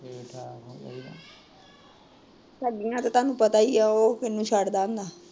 ਠੱਗੀਆਂ ਤਾਂ ਤਾਣੁ ਪਤਾ ਈ ਐ ਉਹ ਕਿਹਨੂੰ ਛੱਡਦਾ